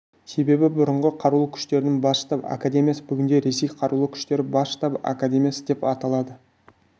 себебі бұрынғы қарулы күштерінің бас штабы академиясы бүгінде ресей қарулы күштері бас штабы академиясы деп аталады